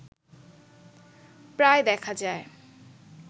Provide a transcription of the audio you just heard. প্রায় দেখা যায়